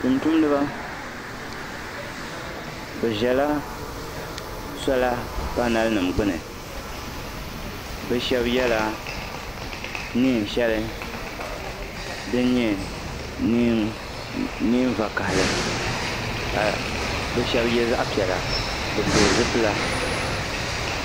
tuntumdiba bɛ zala sɔla paanalinima gbuni bɛ shɛba yɛla neen' shɛli din nyɛ neen' vakahili ka bɛ shɛba ye zaɣ' piɛla bɛ pili zipila